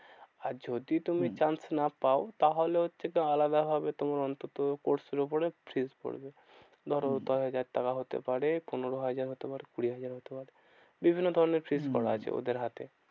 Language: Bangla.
আর যদি তুমি হম chance না পাও, তাহলে হচ্ছে আলাদা ভাবে তোমার অন্তত course এর উপরে fees পড়বে। ধরো হম দশ হাজার টাকা হতে পারে, পনেরো হাজার হতে পারে কুড়ি হাজার হতে পারে। বিভিন্ন ধরণের fees করা আছে হম ওদের হাতে।